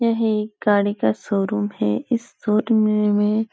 यह एक गाड़ी का शोरूम है। इस शोरूम में में--